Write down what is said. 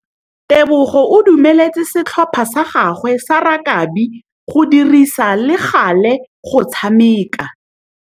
Tebogô o dumeletse setlhopha sa gagwe sa rakabi go dirisa le galê go tshameka.